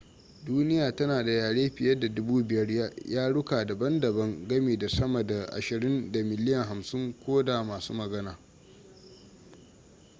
duniya tana da yare fiye da 5,000 yaruka dabam-dabam gami da sama da ashirin da miliyan 50 ko da masu magana